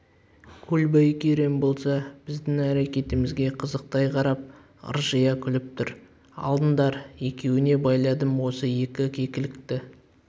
көлбай керең болса біздің әрекетімізге қызықтай қарап ыржия күліп тұр алыңдар екеуіңе байладым осы екі кекілікті дейді